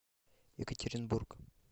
екатеринбург